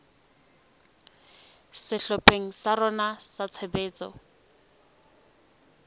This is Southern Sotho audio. sehlopheng sa rona sa tshebetso